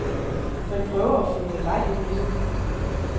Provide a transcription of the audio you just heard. Man prøver at få noget leg ind i det.